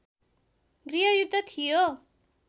गृहयुद्ध थियो